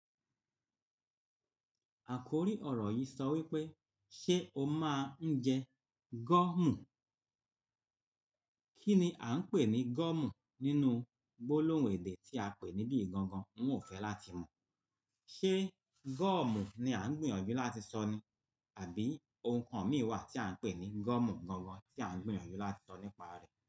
Àkòrí ọ̀rọ̀ yìí sọ wípé, "Ṣé o máa ń jẹ gọ́ọ̀mù?" Kí ni a ń pè ní gọ́ọ̀mù nínú gbólóhùn èdè tí a pè níbí gangan, ń ò fẹ́ láti mọ̀. Ṣé gọ́ọ̀mù ni a ń gbìyànjú láti sọ ní àbí ohun kan mìíràn tí a ń pè ní gọ́ọ̀mù gangan tí a ń gbìyànjú láti sọ nípa rẹ̀?